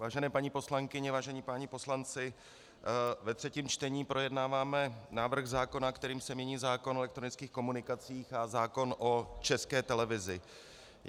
Vážené paní poslankyně, vážení páni poslanci, ve třetím čtení projednáváme návrh zákona, kterým se mění zákon o elektronických komunikacích a zákon o České televizi.